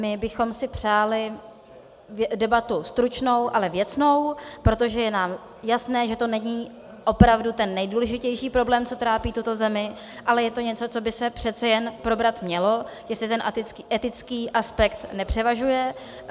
My bychom si přáli debatu stručnou, ale věcnou, protože nám je jasné, že to není opravdu ten nejdůležitější problém, co trápí tuto zemi, ale je to něco, co by se přece jen probrat mělo, jestli ten etický aspekt nepřevažuje.